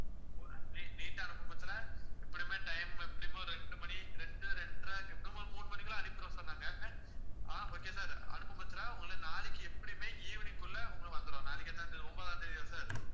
ne~ neat அனுப்பும் பட்சத்துல எப்படியுமே time எப்படியுமே ஒரு ரெண்டு மணி ரெண்டு ரெண்டரை எப்படியும் ஒரு மூணு மணிக்கெல்லாம் அனுப்பிருவோம் sir நாங்க ஆஹ் okay யா sir அனுப்பும் பட்சத்துல உங்களை நாளைக்கு எப்படியுமே evening குள்ள உங்களுக்கு வந்துரும். நாளைக்கு எத்தனாம் தேதி ஒன்பதாம் தேதியா sir